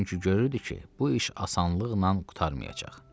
Çünki görürdü ki, bu iş asanlıqla qurtarmayacaq.